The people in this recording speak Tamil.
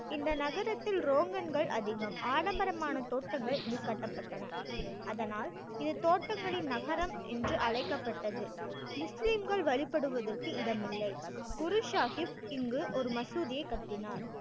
இந்த நகரத்தில் அதிகம் ஆடம்பரமான தோட்டங்கள் இங்கு கட்டப்பட்டன அதனால் இது தோட்டங்களின் நகரம் என்று அழைக்கப்பட்டது முஸ்லீம்கள் வழிபடுவதற்கு இடம் இல்லை குரு சாஹிப் இங்கு ஒரு மசூதியைக் கட்டினார்